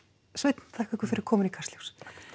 Sveinn þakka ykkur fyrir komuna í Kastljós